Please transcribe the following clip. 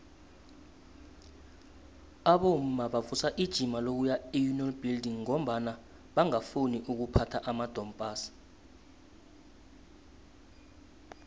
abomma bavusa ijima lokuya eunion buildings ngombana bangafuni ukuphatha amadompass